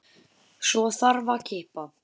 Svo þarf að kippa.